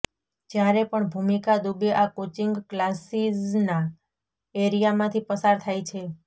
જ્યારે પણ ભૂમિકા દુબે આ કોંચિંગ ક્લાસીઝના એરિયામાંથી પસાર થાય છે